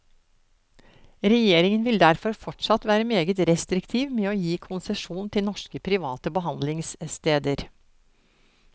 Regjeringen vil derfor fortsatt være meget restriktiv med å gi konsesjon til norske private behandlingssteder.